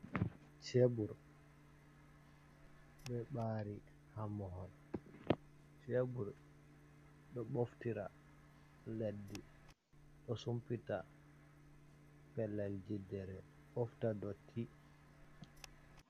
Cebur, ɗoo ɓari ha mahol, cebur ɗoo ɓoftira leddi, ɗoo sumpita pellel jiddere, ɓofta dotti.